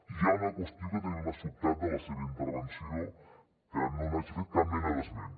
i hi ha una qüestió que també m’ha sobtat de la seva intervenció que no n’hagi fet cap mena d’esment